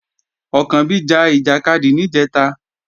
Ọ̀kànbí ja ìjàkadì níjẹ̀ta